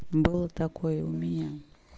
было такое и у меня